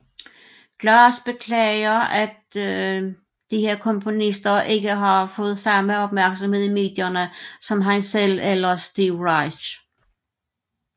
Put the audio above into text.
Glass beklager at disse komponister ikke har fået samme opmærksomhed i medierne som han selv eller Steve Reich